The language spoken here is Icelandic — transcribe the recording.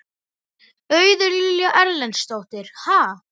Auður Lilja Erlendsdóttir: Ha?